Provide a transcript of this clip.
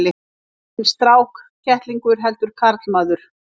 Enginn strákkettlingur heldur karlmaður.